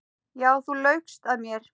Já, þú laugst að mér.